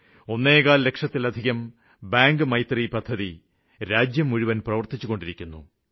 ഇന്ന് ഒന്നേകാല് ലക്ഷത്തിലധികം ബാങ്ക് മിത്രങ്ങള് ദേശം മുഴുവന് പ്രവര്ത്തിച്ചുകൊണ്ടിരിക്കുന്നു